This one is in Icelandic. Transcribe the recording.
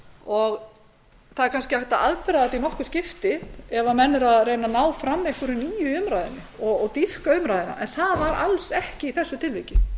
er kannski hægt afsaka þetta í nokkur skipti ef menn eru að reyna að ná fram einhverju nýju í umræðunni og dýpka umræðuna en það var alls ekki svo í þessu tilviki